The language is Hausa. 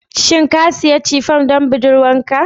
Shin ka sayi Chiffon don budurwarka